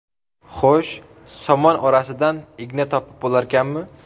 Xo‘sh, somon orasidan igna topib bo‘larkanmi?!